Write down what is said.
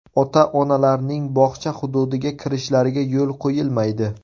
Ota-onalarning bog‘cha hududiga kirishlariga yo‘l qo‘yilmaydi.